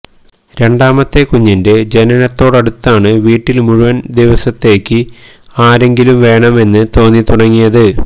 രണ്ടാമത്തെ കുഞ്ഞിന്റെ ജനനത്തോടടുത്താണ് വീട്ടിൽ മുഴുവൻ ദിവസത്തേക്ക് ആരെങ്കിലും വേണം എന്ന് തോന്നി തുടങ്ങിയത്